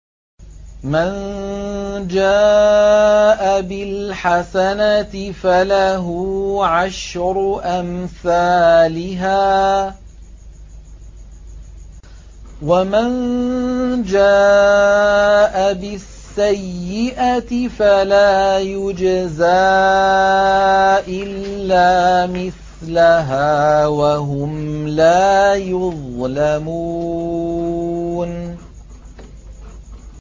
مَن جَاءَ بِالْحَسَنَةِ فَلَهُ عَشْرُ أَمْثَالِهَا ۖ وَمَن جَاءَ بِالسَّيِّئَةِ فَلَا يُجْزَىٰ إِلَّا مِثْلَهَا وَهُمْ لَا يُظْلَمُونَ